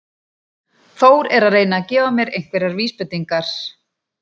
Þór er að reyna að gefa mér einhverjar vísbendingar.